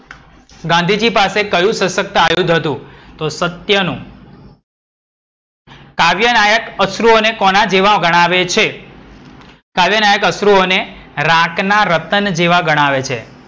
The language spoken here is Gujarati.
ગાંધીજી પાસે કયું સસ્ક્ત આયુધ હતું? તો સત્ય નું. કાવ્યનાયક અશ્રુઑ ને કોના જેવા ગણાવે છે? કાવ્યનાયક અશ્રુઑ ને રાકના રતન જેવા ગણાવે છે.